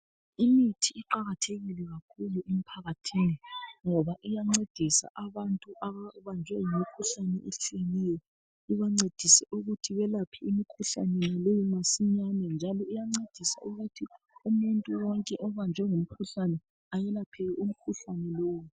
Imithi iqakathekile kakhulu emphakathini ngoba iyancedisa abantu ababanjwe yimikhuhlane etshiyeneyo ubancedise ukuthi belaphe umkhuhlane nalowo masinyane njalo uyancedisa ukuthi umuntu wonke obanjwe ngumkhuhlane ayelaphiwe umkhuhlane lowo